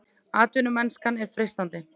Atvinnumennskan er freistandi